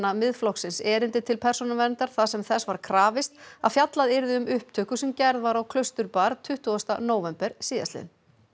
Miðflokksins erindi til Persónuverndar þar sem þess var krafist að fjallað yrði um upptöku sem gerð var á tuttugasta nóvember síðastliðinn